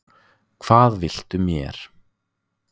Hvað viltu mér?